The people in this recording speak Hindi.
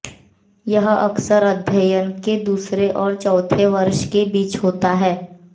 यह अक्सर अध्ययन के दूसरे और चौथे वर्ष के बीच होता है